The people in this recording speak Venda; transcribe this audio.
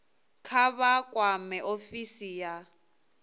kha vha kwame ofisi ya